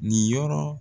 Nin yɔrɔ